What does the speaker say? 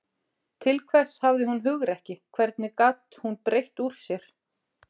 Til hvers hafði hún hugrekki, hvernig gat hún breitt úr sér.